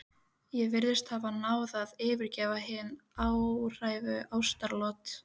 Ég virðist hafa náð að yfirgnæfa hin háværu ástaratlot